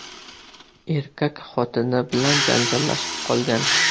Erkak xotini bilan janjallashib qolgan.